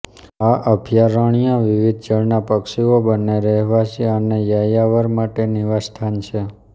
આ અભયારણ્ય વિવિધ જળનાં પક્ષીઓ બંને રહેવાસી અને યાયાવર માટે નિવાસસ્થાન છે